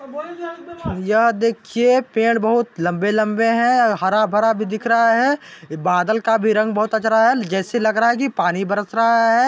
भईया देखिए पेड़ बहुत लंबे लंबे हे हारा भरा भी दिख रहा हे बादल का भी रंग बहुत जच रहा हे जैसे लग रहा हे की पानी बरस रहा हे।